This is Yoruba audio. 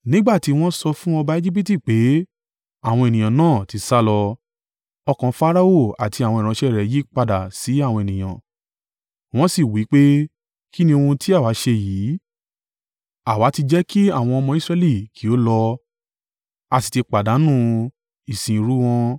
Nígbà tí wọ́n sọ fún ọba Ejibiti pé àwọn ènìyàn náà ti sálọ, ọkàn Farao àti àwọn ìránṣẹ́ rẹ̀ yí padà sí àwọn ènìyàn, wọ́n sì wí pé, “Kí ni ohun tí àwa ṣe yìí? Àwa ti jẹ́ kí àwọn ọmọ Israẹli kí ó lọ, a sì ti pàdánù ìsìnrú wọn.”